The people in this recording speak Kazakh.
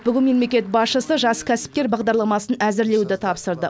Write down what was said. бүгін мемлекет басшысы жас кәсіпкер бағдарламасын әзірлеуді тапсырды